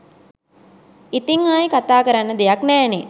ඉතිං ආයේ කතා කරන්න දෙයක් නෑනේ.